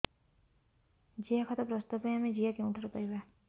ଜିଆଖତ ପ୍ରସ୍ତୁତ ପାଇଁ ଆମେ ଜିଆ କେଉଁଠାରୁ ପାଈବା